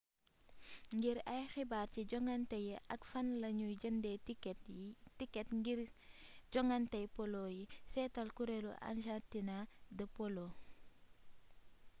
ngir ay xibaar ci jonganté yi ak fanla ñuy jëndé tikét ngir jongantéy polo yi séétal kurelu argentina de polo